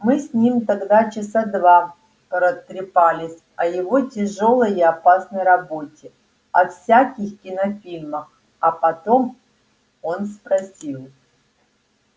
мы с ним тогда часа два протрепались о его тяжёлой и опасной работе о всяких кинофильмах а потом он спросил